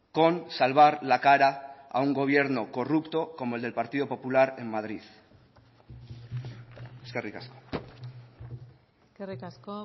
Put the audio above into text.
con salvar la cara a un gobierno corrupto como el del partido popular en madrid eskerrik asko eskerrik asko